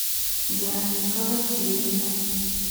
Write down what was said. вероника васильевна